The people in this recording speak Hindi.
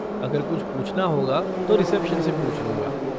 अगर कुछ पूछना होगा तो रिसेप्शन से पूछ लूँगा।